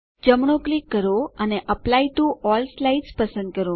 જમણું ક્લિક કરો અને એપ્લાય ટીઓ અલ્લ સ્લાઇડ્સ પસંદ કરો